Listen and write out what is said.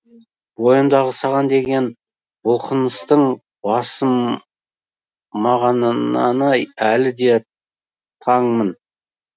бойымдағы саған деген бұлқыныстың басылмағанынаны әлі де таңмын